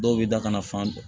Dɔw bɛ da kana fan dɔn